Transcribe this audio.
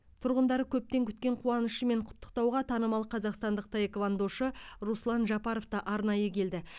тұрғындары көптен күткен қуанышымен құттықтауға танымал қазақстандық таэквондошы руслан жапаров та арнайы келді